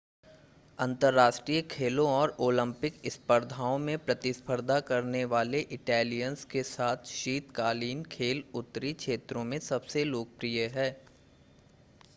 अंतर्राष्ट्रीय खेलों और ओलंपिक स्पर्धाओं में प्रतिस्पर्धा करने वाले इटालियंस के साथ शीतकालीन खेल उत्तरी क्षेत्रों में सबसे लोकप्रिय हैं